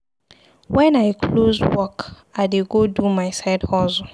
Wen I close work, I dey go do my side hustle.